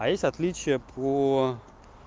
а есть отличия по